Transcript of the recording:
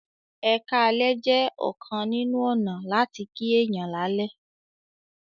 "eka lẹ" jẹ ọkan nínú ọnà lati kí èyán lalẹ